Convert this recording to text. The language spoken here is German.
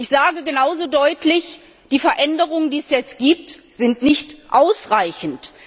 Ich sage genau so deutlich, die Veränderungen, die es jetzt gibt, sind nicht ausreichend.